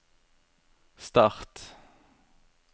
start